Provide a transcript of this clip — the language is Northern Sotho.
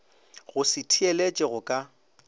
go se theeletše go ka